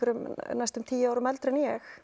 næstum tíu árum eldri en ég